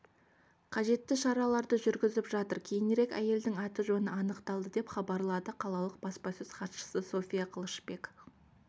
қажетті шараларды жүргізіп жатыр кейінірек әйелдің аты-жөні анықталды деп хабарлады қалалық баспасөз хатшысы софья қылышбек